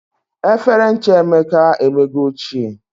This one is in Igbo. Efere ncha Emeka e emego ochie